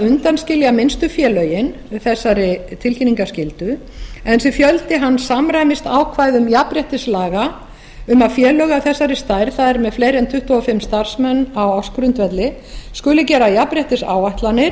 undanskilja minnstu félögin þessari tilkynningarskyldu en þessi fjöldi samræmist ákvæðum jafnréttislaga um að félög af þessari stærð það er með fleiri en tuttugu og fimm starfsmenn á ársgrundvelli skuli gera jafnréttisáætlanir